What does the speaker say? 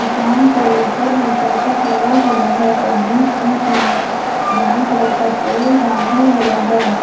दुकान के ऊपर में करकट लगा हुआ है और बीच बीच में ब्राउन कलर का पोल बांधा हुआ है।